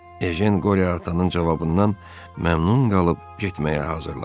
Ejen Qori atanının cavabından məmnun qalıb getməyə hazırlaşdı.